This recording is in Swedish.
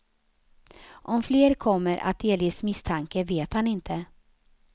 Om fler kommer att delges misstanke vet han inte.